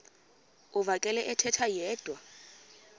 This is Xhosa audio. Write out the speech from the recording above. uvakele ethetha yedwa